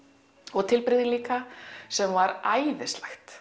og tilbrigði líka sem var æðislegt